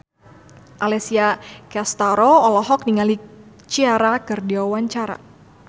Alessia Cestaro olohok ningali Ciara keur diwawancara